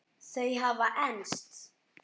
Þau hafa enst.